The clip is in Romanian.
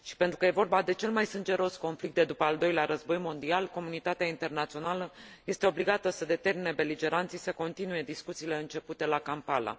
Și, pentru că e vorba de cel mai sângeros conflict de după Al Doilea Război Mondial, comunitatea internațională este obligată să determine beligeranții să continue discuțiile începute la Kampala.